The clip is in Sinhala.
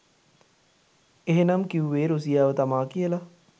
එහෙනම් කිව්වෙ රුසියාව තමා කියලා?